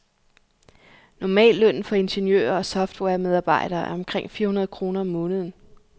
Normallønnen for ingeniører og softwaremedarbejdere er omkring fire hundrede kr om måneden.